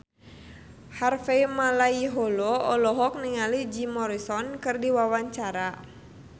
Harvey Malaiholo olohok ningali Jim Morrison keur diwawancara